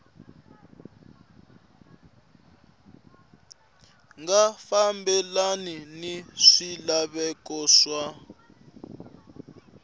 nga fambelani ni swilaveko swa